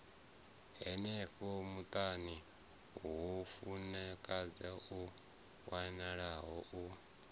henefho muṱani mufumakadzi o malwaho